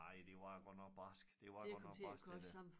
Nej det var godt barskt det var godt nok barskt det der